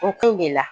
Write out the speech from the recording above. O kun de la